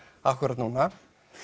akkúrat núna